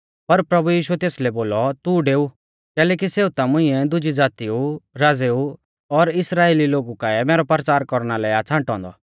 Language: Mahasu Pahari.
पर प्रभु यीशुऐ तेसलै बोलौ तू डेऊ कैलैकि सेऊ ता मुंइऐ दुजी ज़ातीऊ राज़ेऊ और इस्राइली लोगु काऐ मैरौ परचार कौरना लै आ छ़ांटौ औन्दौ